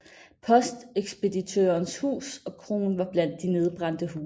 Postekspeditørens hus og kroen var blandt de nedbrændte huse